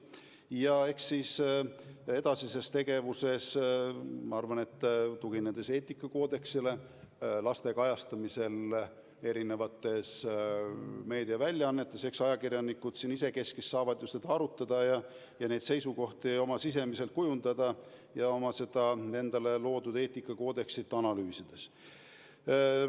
Ja eks siis edasises tegevuses, ma arvan, tuginedes ka eetikakoodeksile laste kajastamisel erinevates meediaväljaannetes, ajakirjanikud isekeskis saavad asja arutada ja oma seisukohti kujundada, analüüsides olukorda iseendale loodud eetikakoodeksist lähtudes.